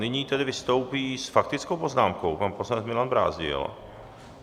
Nyní tedy vystoupí s faktickou poznámkou pan poslanec Milan Brázdil.